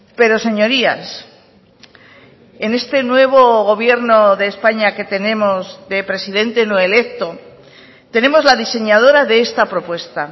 pero señorías en este nuevo gobierno de españa que tenemos de presidente no electo tenemos la diseñadora de esta propuesta